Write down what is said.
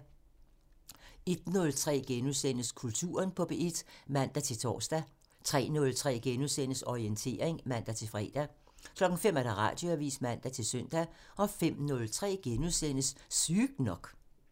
01:03: Kulturen på P1 *(man-tor) 03:03: Orientering *(man-fre) 05:00: Radioavisen (man-søn) 05:03: Sygt nok *(man)